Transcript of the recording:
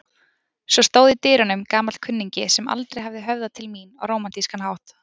Svo stóð í dyrunum gamall kunningi sem aldrei hafði höfðað til mín á rómantískan hátt.